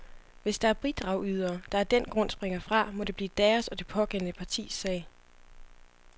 Hvis der er bidragydere, der af den grund springer fra, må det blive deres og det pågældende partis sag.